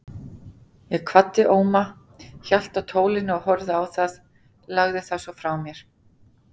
Ég kvaddi Óma, hélt á tólinu og horfði á það, lagði það svo frá mér.